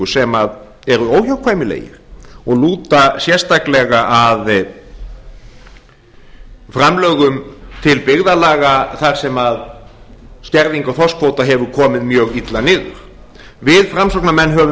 sem eru óhjákvæmilegir og lúta sérstaklega að framlögum til byggðarlaga þar sem skerðing á þorskkvóta hefur komið mjög illa niður við framsóknarmenn höfum